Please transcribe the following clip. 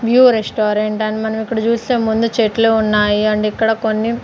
new restaurant అని మనం ఇక్కడ చూస్తే ముందు చెట్లు ఉన్నాయి ఆండ్ ఇక్కడ కొన్ని--